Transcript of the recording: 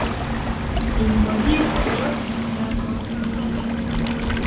im body but justice nyako still refuse am